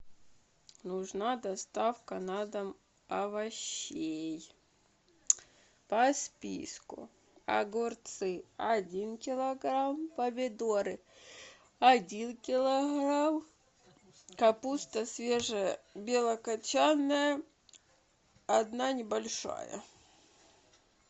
нужна доставка на дом овощей по списку огурцы один килограмм помидоры один килограмм капуста свежая белокачанная одна небольшая